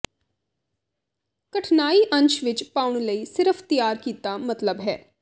ਕਠਨਾਈ ਅੰਸ਼ ਵਿੱਚ ਪਾਉਣ ਲਈ ਸਿਰਫ਼ ਤਿਆਰ ਕੀਤਾ ਮਤਲਬ ਹੈ